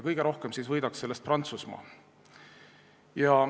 Kõige rohkem võidaks sellest Prantsusmaa.